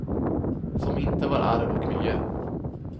Som inte var arv och miljö.